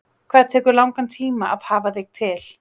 Hvað tekur langan tíma að hafa þig til?